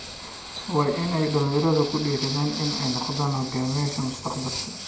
Waa in dhalinyaradu ku dhiiradaan inay noqdaan hogaamiyayaasha mustaqbalka.